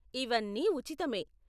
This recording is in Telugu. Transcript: ఇవన్నీ ఉచితమే.